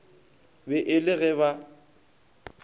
be e le ge ba